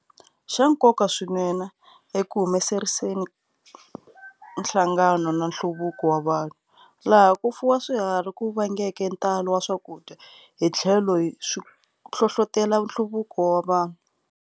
Xa nkoka swinene eku humeleriseni nhlangano na nhluvuko wa vanhu, laha ku fuwa swiharhi ku vangeke ntalo wa swakudya hithlelo swi hlohlotela nhluvuko wa vanhu.